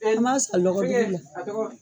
I ma san lɔgɔ dugu la.